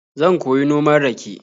Zan koyi noman rake.